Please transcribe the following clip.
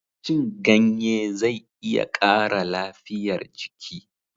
cin ganye zai iya ƙara lafiyar jiki